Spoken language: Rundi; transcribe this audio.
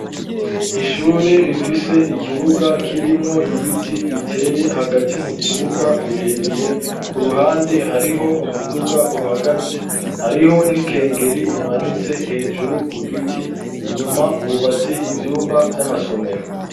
Ishure rifise ikibuga kirimwo ibiti biteye hagati mu kibuga birebire ku ruhande hariho umuduga uhagaze hariho n'ikengeri imanitse hejuru ku giti inyuma hubase ivyumba vy'amasomero.